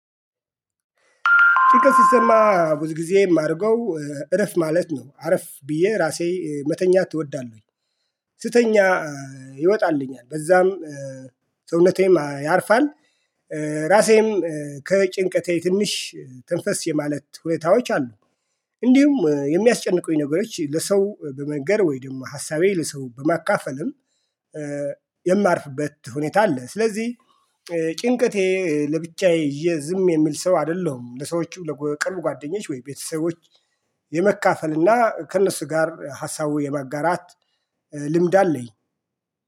ቺቃ ሲሰማ ብዙ ጊዜ የማደርገው እረፍት ማለት ነው አረፍ ብዬ ራሴ መተኛት እወዳለሁኝ። ስተኛ ይወጣልኛል በዛም ሰውነቴም ያርፋል። ራሴም ከጭንቀቴ ትንሽ ተንፈስ የማለት ሁኔታዎች አሉ። እንዲሁም የሚያስጨንቁኝ ነገሮች ለሰው በመንገር ወይ ደግሞ ሀሳቤ ለሰው በማካፈልም የማርፍበት ሁኔታ አለ። ስለዚህ ጭንቀቴ ለብቻዬ ይዤ ዝም የሚል ሰው አይደለሁም። ለሰዎቹ ለቅርብ ጓደኞች ወይ ቤተሰቦች የመካፈል እና ከእነሱ ጋር ሀሳቡ የማጋራት ልምድ አለኝ።